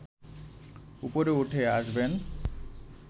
ওপরে উঠে আসবেন